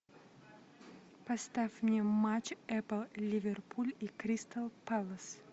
поставь мне матч эпл ливерпуль и кристал пэлас